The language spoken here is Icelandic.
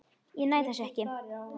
Ég næ þessu ekki.